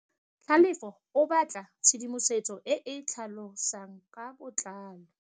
Tlhalefô o batla tshedimosetsô e e tlhalosang ka botlalô.